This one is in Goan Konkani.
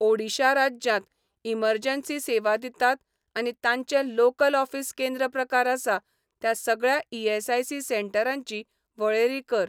ओडिशा राज्यांत इमर्जन्सी सेवा दितात आनी तांचें लोकल ऑफीस केंद्र प्रकार आसा त्या सगळ्या ईएसआयसी सेंटरांची वळेरी कर.